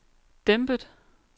dæmpet